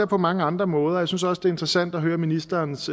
på mange andre måder jeg synes også det er interessant at høre ministerens